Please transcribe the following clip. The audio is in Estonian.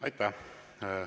Aitäh!